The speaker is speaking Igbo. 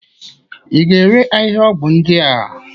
Ị ga-ere ahịhịaọgwụ ndị a?